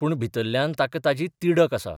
पूण भितरल्यान ताका ताची तिडक आसा.